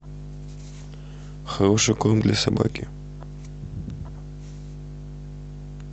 хороший корм для собаки